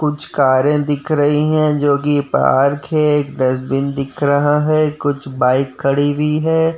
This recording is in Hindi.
कुछ कारे दिख रही हैं जो की पार्क है। डस्ट्बिन दिख रहा है। कुछ बाइक खड़ी हुई है।